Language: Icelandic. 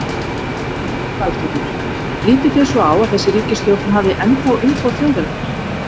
Lillý Valgerður: Lítið þið svo á að þessi ríkisstjórn hafi ennþá umboð þjóðarinnar?